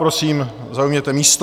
Prosím, zaujměte místo.